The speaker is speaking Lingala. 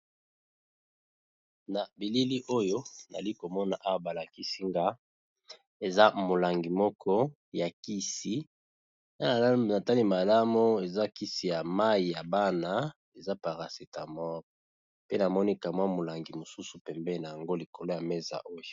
Na bilili oyo nazali komona eza molangi moko ya kisi na tali malamu eza kisi ya mai ya bana eza parasetamor pe namoni ka mwa molangi ya pembe eza likolo ya meza oyo.